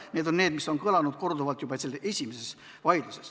Need on argumendid, mis on vaidlustes korduvalt kõlanud.